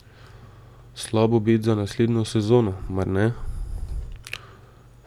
Slab obet za naslednjo sezono, mar ne?